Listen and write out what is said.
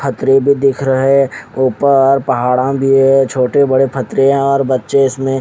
छतरी भी दिख रहे है ऊपर पहाड़ भी है छोटे बड़े छतरिया और बच्चे इसमें --